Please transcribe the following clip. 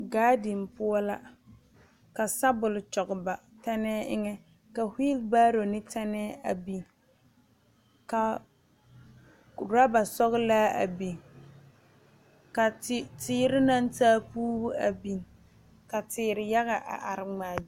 Gaadini poɔ la ka sɔbol kyɔge ba tɛnɛɛ eŋɛ ka wheel barrow ne tɛnɛɛ a biŋ ka ɔrɔba sɔglaa a biŋ ka te teere naŋ taa puuri a biŋ ka teere yaga a are ŋmaa.